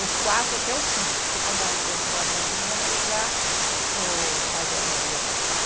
Os quatro até os cinco, porque quando ah entrou a minha filhinha, daí já o mais velho já ia para a escola.